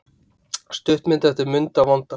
Stuttmynd eftir Munda vonda